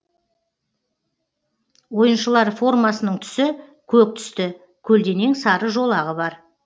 ойыншылар формасының түсі көк түсті көлденең сары жолағы бар